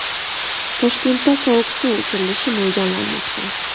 Toshkentda sovuq suv o‘chirilishi mo‘ljallanmoqda.